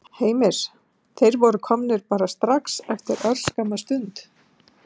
Heimir: Þeir voru komnir bara strax eftir örskamma stund?